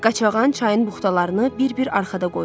Qaçağan çayın buxtalarını bir-bir arxada qoyurdu.